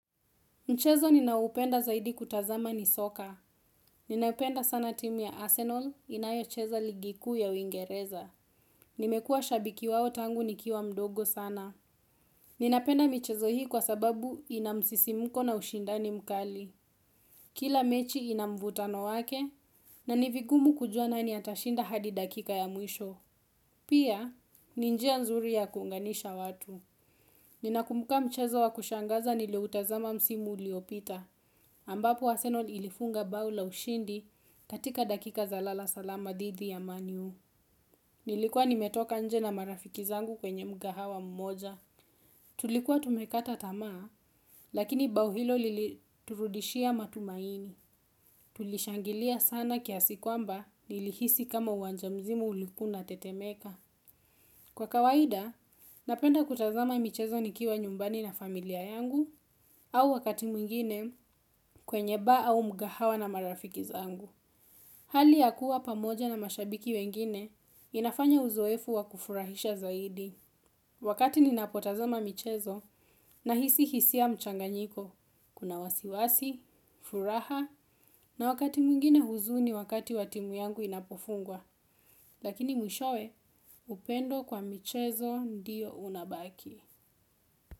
Mchezo ninaoupenda zaidi kutazama ni soka. Ninapenda sana timu ya Arsenal inayocheza ligi kuu ya Uingereza. Nimekuwa shabiki wao tangu nikiwa mdogo sana. Ninapenda michezo hii kwa sababu ina msisimuko na ushindani mkali. Kila mechi ina mvutano wake na ni vigumu kujua nani atashinda hadi dakika ya mwisho. Pia, ni njia nzuri ya kuunganisha watu. Ninakumbuka mchezo wa kushangaza niliutazama msimu uliopita. Ambapo Arsenal ilifunga bao la ushindi katika dakika za lala salama dhidi ya Man U. Nilikuwa nimetoka nje na marafiki zangu kwenye mkahawa mmoja. Tulikuwa tumekata tamaa, lakini bao hilo liliturudishia matumaini. Tulishangilia sana kiasi kwamba nilihisi kama uwanja mzima ulikuwa unatetemeka. Kwa kawaida, napenda kutazama michezo nikiwa nyumbani na familia yangu au wakati mwingine kwenye baa au mkahawa na marafiki zangu. Hali ya kuwa pamoja na mashabiki wengine inafanya uzoefu wa kufurahisha zaidi. Wakati ninapotazama michezo, nahisi hisia mchanganyiko, kuna wasiwasi, furaha, na wakati mwingine huzuni wakati wa timu yangu inapofungwa, lakini mwishowe, upendo kwa michezo ndiyo unabaki.